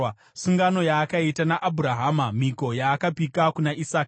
Sungano yaakaita naAbhurahama, mhiko yaakapika kuna Isaka.